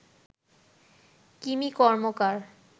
Kimi Karmakar